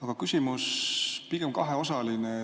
Aga küsimus on pigem kaheosaline.